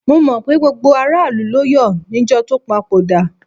Mo mọ̀ pé gbogbo aráàlú ló yọ̀ níjọ́ tó papòdà.